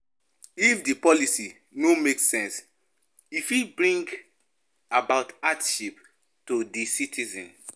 If di policy no make sense e fit bring about hardship to di citizens